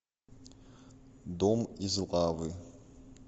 дом из лавы